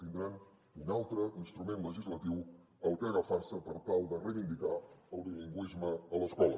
tindran un altre instrument legislatiu al que agafar se per tal de reivindicar el bilingüisme a l’escola